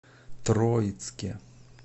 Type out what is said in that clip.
троицке